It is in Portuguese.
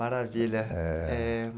Maravilha.